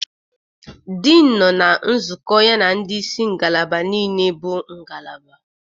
Dean nọ na nzukọ ya na ndị isi ngalaba niile bụ ngalaba